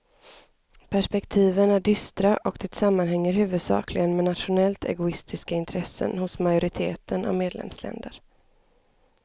Perspektiven är dystra och det sammanhänger huvudsakligen med nationellt egoistiska intressen hos majoriteten av medlemsländer.